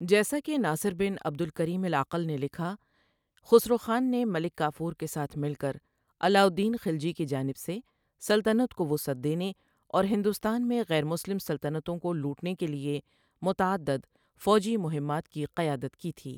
جیسا کہ ناصر بن عبد الکریم العقل نے لکھا خسرو خان نے ملک کافور کے ساتھ مل کر علاؤالدین خلجی کی جانب سے سلطنت کو وسعت دینے اور ہندوستان میں غیر مسلم سلطنتوں کو لوٹنے کے لیے متعدد فوجی مہمات کی قیادت کی تھی۔